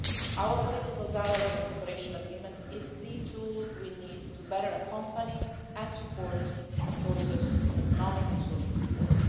Our political dialogue and cooperation agreement is the tool we need to better accompany and support a process of economic and social reform.